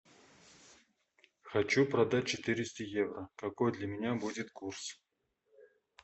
хочу продать четыреста евро какой для меня будет курс